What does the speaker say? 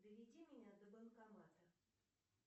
доведи меня до банкомата